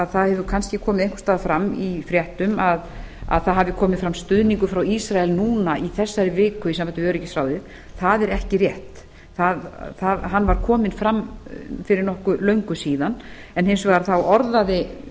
það hefur kannski komið einhvers staðar fram í fréttum að það hafi komið fram stuðningur frá ísrael núna í þessari viku í sambandi við öryggisráðið það er ekki rétt hann var kominn fram fyrir nokkuð löngu síðan en hins vegar orðaði